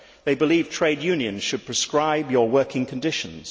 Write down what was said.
They believe trade unions should prescribe your working conditions.